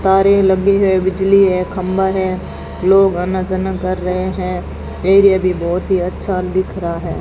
तारे लगी है बिजली है खंभा है लोग आना जाना कर रहे हैं एरिया भी बहोत ही अच्छा दिख रहा है।